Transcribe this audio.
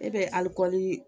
E bɛ alikɔli